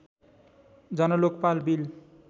Jan Lokpal bill